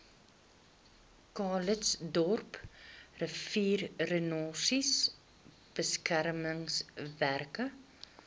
calitzdorp riviererosie beskermingswerke